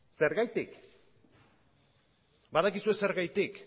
zergatik badakizue zergatik